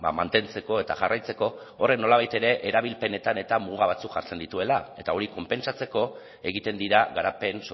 mantentzeko eta jarraitzeko horrek nolabait ere erabilpenetan eta muga batzuk jartzen dituela eta hori konpentsatzeko egiten dira garapen